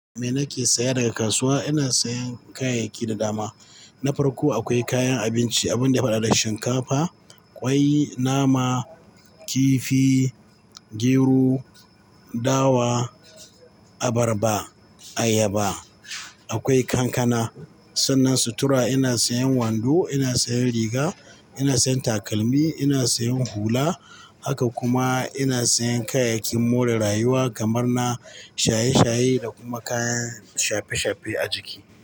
Me nake saya daga kasuwa? Ina sayan kayayyaki da dama. Na farko akwai kayan abinci, abun da ya fara da shinkafa, ƙwai, nama, kifi, gero, dawa, abarba, ayaba, akwai kankana. Sannan sutura ina sayan wando, ina sayan riga, ina sayan takalmi, ina sayan hula. Haka kuma ina sayan kayayyakin more rayuwa kamar na shaye-shaye da kuma kayan shafe-shafe a jiki.